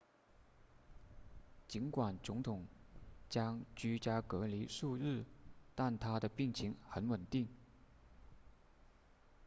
尽管总统将居家隔离数日但他的病情很稳定